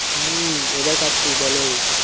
হুম এবার পাচ্ছি বলো